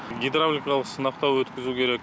гидравликалық сынақтан өткізу керек